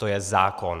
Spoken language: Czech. To je zákon.